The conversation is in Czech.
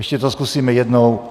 Ještě to zkusíme jednou.